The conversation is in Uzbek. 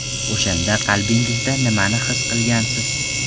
O‘shanda qalbingizda nimani his qilgansiz?